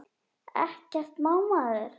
Ekkert má maður!